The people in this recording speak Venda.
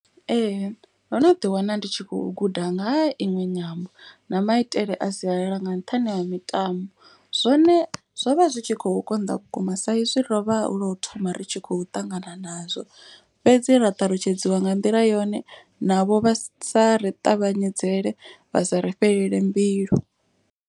Ee ndo no ḓi wana ndi tshi khou guda nga ha iṅwe nyambo na maitele a sialala nga nṱhani ha mitambo. Zwone zwo vha zwi tshi kho konḓa vhukuma sa izwi ro vha hulo thoma ri tshi khou ṱangana nazwo. Fhedzi ra ṱalutshedziwa nga nḓila yone navho vha sa ri ṱavhanyedzele vha sa ri fhelele mbilu.